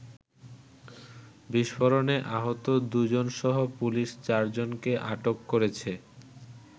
বিস্ফোরণে আহত দু’জনসহ পুলিশ চারজনকে আটক করেছে।